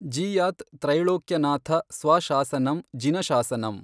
ಜೀಯಾತ್ ತ್ರೈಳೋಕ್ಯ ನಾಥ ಸ್ವಶಾಸನಂ ಜಿನಶಾಸನಂ।